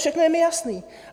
Všechno je mi jasné.